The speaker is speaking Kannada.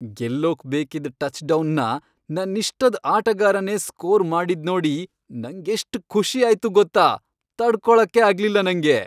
ಗೆಲ್ಲೋಕ್ ಬೇಕಿದ್ ಟಚ್ಡೌನ್ನ ನನ್ನಿಷ್ಟದ್ ಆಟಗಾರನೇ ಸ್ಕೋರ್ ಮಾಡಿದ್ನೋಡಿ ನಂಗೆಷ್ಟ್ ಖುಷಿ ಆಯ್ತು ಗೊತ್ತಾ, ತಡ್ಕೊಳಕ್ಕೇ ಆಗ್ಲಿಲ್ಲ ನಂಗೆ.